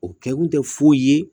O kɛ kun tɛ foyi ye